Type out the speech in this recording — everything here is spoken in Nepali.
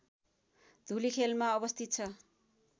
धुलिखेलमा अवस्थित छ